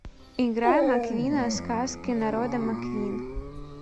играй маквина сказки народа маквин